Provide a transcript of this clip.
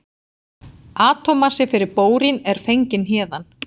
Atómmassi fyrir bórín er fenginn héðan.